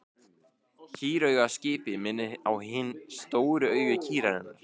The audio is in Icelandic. Kýrauga á skipi minnir á hin stóru augu kýrinnar.